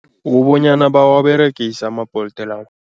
Kubonyana bawaberegise ama-Bolt la.